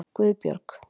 Guðbjörg